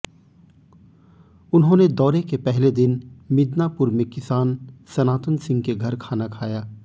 उन्होंने दौरे के पहले दिन मिदनापुर में किसान सनातन सिंह के घर खाना खाया